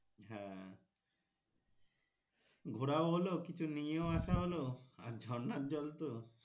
হ্যাঁ ঘোরাও হল কিছু নিয়েও আসা হল আর ঝর্নার জল তো